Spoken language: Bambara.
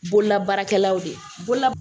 Bololabaarakɛlaw de ye bolola